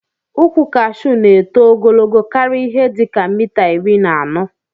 Ukwu kashu na eto ogologo karia ihe dika mita iri na anọ